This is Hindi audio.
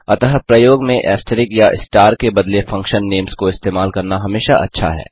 अतः प्रयोग में ऐस्टरिस्क या स्टार के बदले फंक्शन नेम्स को इस्तेमाल करना हमेशा अच्छा है